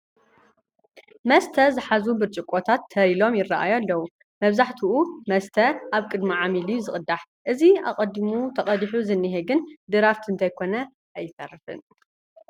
መስተ ዝሓዙ ብርጭቆታት ተር ኢሎም ይርአዩ ኣለዉ፡፡ መብዛሕትኡ መስተ ኣብ ቅድሚ ዓሚል እዩ ዝቕዳል፡፡ እዚ ኣቐዲሙ ተቐዲሉ ዝኒሀ ግን ድራፍት እንተይኮነ ኣይተርፍን፡፡